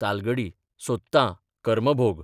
तालगडी सोदतां, कर्मभोग !